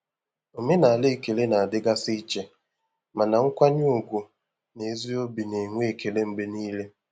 Omenala ekele na-adịgasị iche, mana nkwanye ùgwù na ezi obi na-enwe ekele mgbe niile.